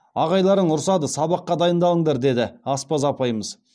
ағайларың ұрсады сабаққа дайындалыңдар дейді аспаз апайымыз